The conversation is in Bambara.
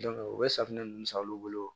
u bɛ safunɛ ninnu san olu bolo